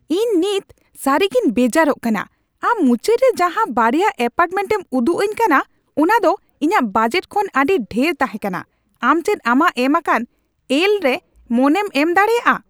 ᱤᱧ ᱱᱤᱛ ᱥᱟᱹᱨᱤᱜᱤᱧ ᱵᱮᱡᱟᱨᱚᱜ ᱠᱟᱱᱟ ᱾ᱟᱢ ᱢᱩᱪᱟᱹᱫ ᱨᱮ ᱡᱟᱦᱟᱸ ᱵᱟᱨᱭᱟ ᱮᱹᱯᱟᱨᱴᱢᱮᱱᱴ ᱮᱢ ᱩᱫᱩᱜ ᱟᱹᱧ ᱠᱟᱱᱟ ᱚᱱᱟ ᱫᱚ ᱤᱧᱟᱹᱜ ᱵᱟᱡᱮᱴ ᱠᱷᱚᱱ ᱟᱹᱰᱤ ᱰᱷᱮᱨ ᱛᱟᱦᱮᱸ ᱠᱟᱱᱟ ᱾ᱟᱢ ᱪᱮᱫ ᱟᱢᱟᱜ ᱮᱢ ᱟᱠᱟᱱ ᱮᱞ ᱨᱮ ᱢᱚᱱᱮᱢ ᱮᱢ ᱫᱟᱲᱮᱭᱟᱜᱼᱟ ?